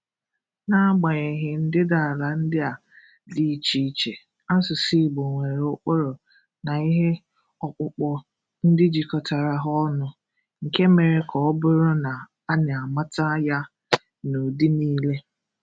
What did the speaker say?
N’agbanyeghị ndịdaala ndị a dị iche iche, áṣụ̀sụ̀ Ìgbò nwere ụkpụrụ na ihe ọkpụkpọ ndị jikọtara ha ọnụ, nke mere ka ọ bụrụ na a na-amata ya n’ụdị niile.